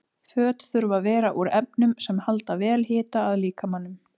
Föt þurfa að vera úr efnum sem halda vel hita að líkamanum.